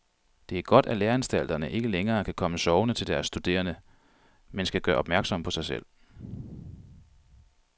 Det er godt, at læreanstalterne ikke længere kan komme sovende til deres studerende, men skal gøre opmærksom på sig selv.